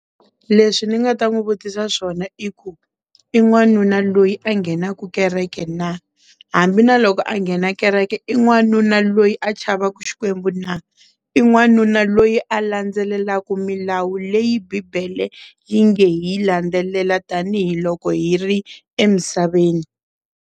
Leswi ni nga ta n'wi vutisa swona i ku i n'wanuna loyi a nghenaka kereke na hambi na loko a nghena kereke i n'wanuna loyi a chavaku Xikwembu na i n'wanuna loyi a landzelelaka milawu leyi bibele yi nge hi landzelela tanihiloko hi ri emisaveni.